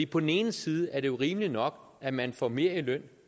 på den ene side er det rimeligt nok at man får mere i løn